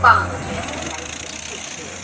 ballıcaya səfərin necə keçdi?